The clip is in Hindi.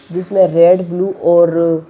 जिसमे रेड ब्लू और--